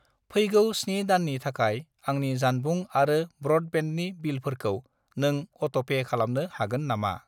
फैगौ 7 दाननि थाखाय आंनि जानबुं आरो ब्र'डबेन्डनि बिलफोरखौ नों अट'पे खालामनो हागोन नामा?